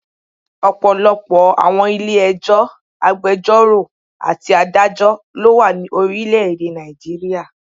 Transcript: Ọ̀pọ̀lọpọ̀ àwọn Ilé ẹjọ́, agbẹjọ́rò àti adájọ́ lo wa ni orílẹ̀ èdè Nàìjíríà